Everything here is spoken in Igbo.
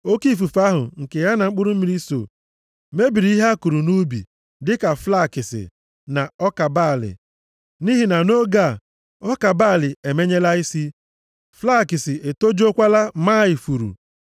Oke ifufe ahụ nke ya na mkpụrụ mmiri so mebiri ihe a kụrụ nʼubi, dịka flakisi na ọka balị. Nʼihi na nʼoge a, ọka balị emenyela isi, flakisi etojuokwala maa ifuru.